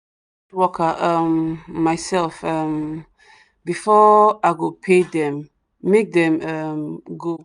worker um myself um befor i go pay them make them um go